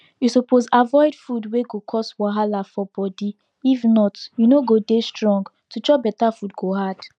you suppose avoid food we go cause wahala for body if not you no go dey strong to chop better food go hard